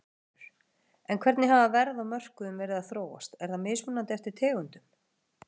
Ásgrímur: En hvernig hafa verð á mörkuðum verið að þróast, er það mismunandi eftir tegundum?